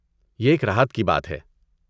یہ ایک راحت کی بات ہے۔